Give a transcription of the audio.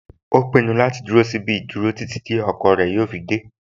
O ti pinnu láti dúró sí ibi ìdúró títí ọkọ rẹ̀ yóò fi dẹ́